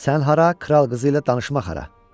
Sən hara, kral qızı ilə danışmaq hara?